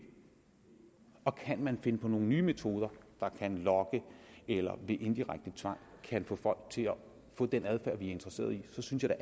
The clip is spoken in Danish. og kan man finde på nogle nye metoder der kan lokke eller ved indirekte tvang kan få folk til at få den adfærd vi er interesseret i så synes jeg